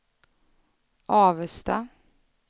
Avesta